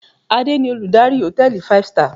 Adé ni Olùdarí hòtẹ́ẹ̀lì five star.